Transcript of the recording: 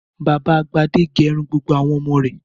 Bàbá Gbadé gẹrun gbogbo àwọn ọmọ rẹ̀.